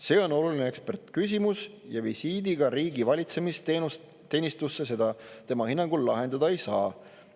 See on oluline ekspertidele küsimus ja visiidiga riigi valitsemisteenistusse seda tema hinnangul lahendada ei saa.